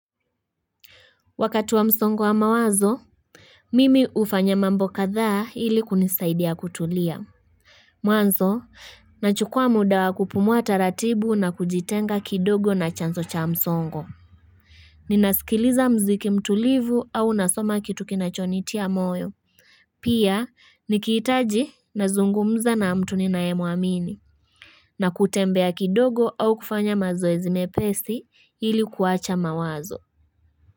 Wakatu wa msongo wa mawazo Mimi ufanya mambo kadha hili kunisaidia kutulia Mwanzo, nachukua muda wa kupumua ratibu na kujitenga kidogo na chanzo cha msongo Ninasikiliza mziki mtulivu au unasoma kitu kinachonitia moyo Pia, nikitaji na zungumza na mtu ni nae muamini na kutembea kidogo au kufanya mazoezi mepesi hili kuwacha mawazo.